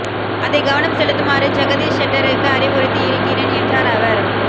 அதை கவனம் செலுத்துமாறு ஜெகதீஷ் ஷெட்டருக்கு அறிவுறுத்தி இருக்கிறேன் என்றார் அவர்